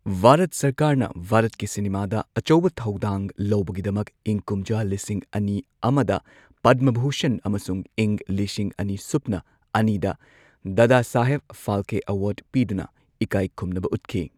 ꯚꯥꯔꯠ ꯁꯔꯀꯥꯔꯅ ꯚꯥꯔꯠꯀꯤ ꯁꯤꯅꯦꯃꯥꯗ ꯑꯆꯧꯕ ꯊꯧꯗꯥꯡ ꯂꯧꯕꯒꯤꯗꯃꯛ ꯏꯪ ꯀꯨꯝꯖꯥ ꯂꯤꯁꯤꯡ ꯑꯅꯤ ꯑꯃꯗ ꯄꯗꯃ ꯚꯨꯁꯟ ꯑꯃꯁꯨꯡ ꯏꯪ ꯂꯤꯁꯤꯡ ꯑꯅꯤ ꯁꯨꯞꯅ ꯑꯅꯤꯗ ꯗꯥꯗꯥꯁꯥꯍꯦꯕ ꯐꯥꯜꯀꯦ ꯑꯦꯋꯥꯔꯗ ꯄꯤꯗꯨꯅ ꯏꯀꯥꯏꯈꯨꯝꯅꯕ ꯎꯠꯈꯤ꯫